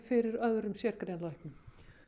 fyrir öðrum sérgreinalæknum